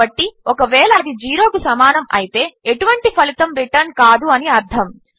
కాబట్టి ఒకవేళ అది 0 కు సమానము అయితే ఎటువంటి ఫలితము రిటర్న్ కాదు అని అర్థము